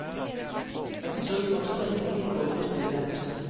Et surr av stemmer gikk over i stillhet.